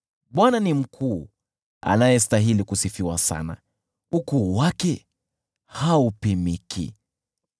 Bwana ni mkuu, anayestahili kusifiwa sana, ukuu wake haupimiki.